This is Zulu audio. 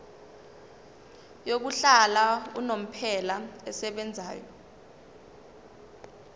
yokuhlala unomphela esebenzayo